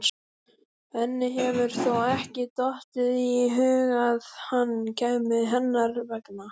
Henni hefur þó ekki dottið í hug að hann kæmi hennar vegna?